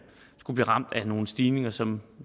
skulle blive ramt af nogle stigninger som